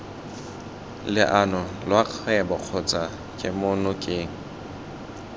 leano lwa kgwebo kgotsa kemonokeng